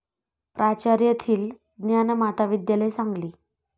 प्राचार्य थील, ज्ञानमाता विद्यालय, सांगली